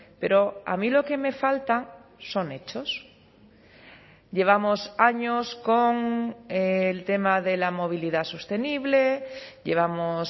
pero a mí lo que me falta son hechos llevamos años con el tema de la movilidad sostenible llevamos